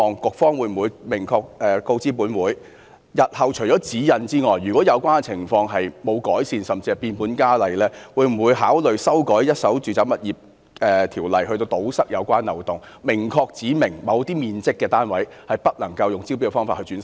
局方會否明確告知本會，日後除指引外，如果有關情況沒有改善，甚至是變本加厲，會否考慮修改《條例》，以堵塞有關漏洞，明確指明某些面積的單位不能夠以招標方式出售？